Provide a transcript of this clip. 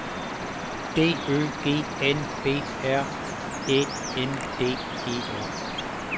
D Ø G N B R Æ N D E R